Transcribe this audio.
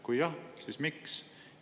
Kui jah, siis miks?